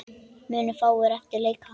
Munu fáir eftir leika.